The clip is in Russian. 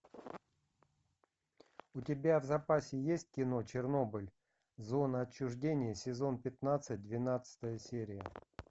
у тебя в запасе есть кино чернобыль зона отчуждения сезон пятнадцать двенадцатая серия